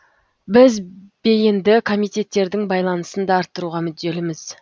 біз бейінді комитеттердің байланысын да арттыруға мүдделіміз